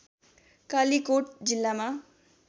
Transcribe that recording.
कालिकोट जिल्लामा